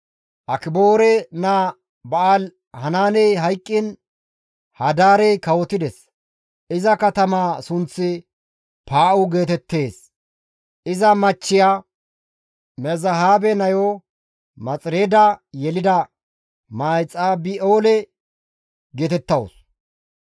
Akiboore naa Ba7aali-Hanaaney hayqqiin Hadaarey kawotides; iza katamaa sunththi Paa7u geetettees; iza machchiya Mezahaabe nayo Maxireeda yelida Mahexabi7eelo geetettawus.